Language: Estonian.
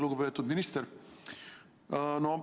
Lugupeetud minister!